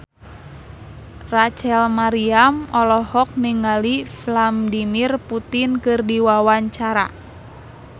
Rachel Maryam olohok ningali Vladimir Putin keur diwawancara